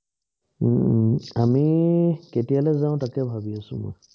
হম আমি কেতিয়া লৈ যাওঁ তাকে ভাবি আছোঁ মই